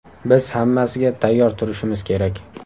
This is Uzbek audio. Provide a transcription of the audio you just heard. Biz hammasiga tayyor turishimiz kerak.